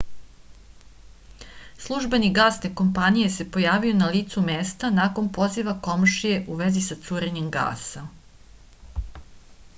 službenik gasne kompanije se pojavio na licu mesta nakon poziva komšije u vezi sa curenjem gasa